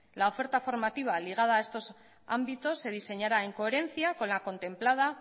la oferta formativa ligada a estos ámbitos se diseñara en coherencia con la contemplada